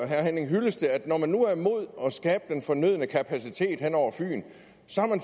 herre henning hyllested at når man nu er imod at skabe den fornødne kapacitet hen over fyn